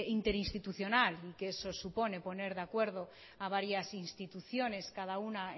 interinstitucional y que eso supone poner de acuerdo a varias instituciones cada una